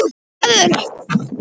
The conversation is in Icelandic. Sjá ákvörðunina í heild